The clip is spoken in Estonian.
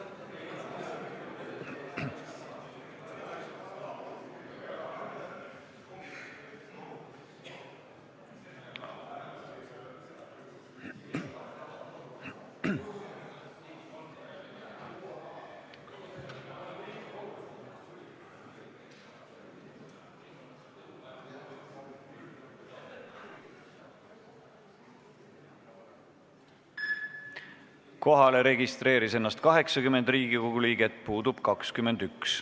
Kohaloleku kontroll Kohalolijaks registreeris ennast 80 Riigikogu liiget, puudub 21.